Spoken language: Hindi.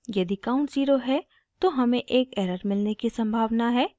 यदि count ज़ीरो है तो हमें एक एरर मिलने की सम्भावना है